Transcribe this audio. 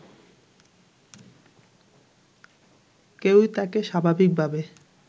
কেউই তাকে স্বাভাবিকভাবে